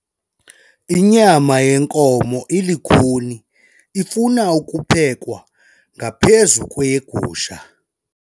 Inyama yenkomo ilukhuni ifuna ukuphekwa ngaphezu kweyegusha.